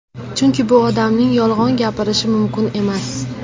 Chunki bu odamning yolg‘on gapirishi mumkin emas.